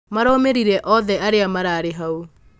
maromĩrire othe arĩa mararĩ hau